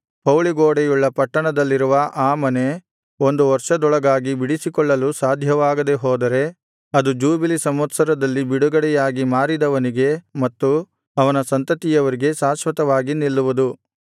ಪೌಳಿಗೋಡೆಯುಳ್ಳ ಪಟ್ಟಣದಲ್ಲಿರುವ ಆ ಮನೆ ಒಂದು ವರ್ಷದೊಳಗಾಗಿ ಬಿಡಿಸಿಕೊಳ್ಳಲು ಸಾಧ್ಯವಾಗದೆ ಹೋದರೆ ಅದು ಜೂಬಿಲಿ ಸಂವತ್ಸರದಲ್ಲಿ ಬಿಡುಗಡೆಯಾಗಿ ಮಾರಿದವನಿಗೆ ಮತ್ತು ಅವನ ಸಂತತಿಯವರಿಗೂ ಶಾಶ್ವತವಾಗಿ ನಿಲ್ಲುವುದು